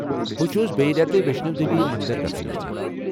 بہٕ چھس بیٚیہِ رٮ۪تہٕ ویشنو دیوی مندر گژھُن یژھان ۔